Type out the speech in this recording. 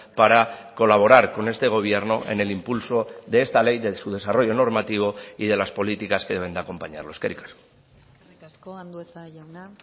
para colaborar con este gobierno en el impulso de esta ley de su desarrollo normativo y de las políticas que deben de acompañarlo eskerrik asko eskerrik asko andueza jauna